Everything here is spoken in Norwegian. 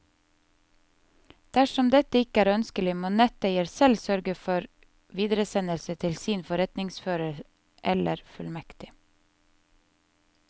Dersom dette ikke er ønskelig, må netteier selv sørge for videresendelse til sin forretningsfører eller fullmektig.